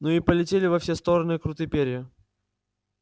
ну и полетели во все-то стороны круты перья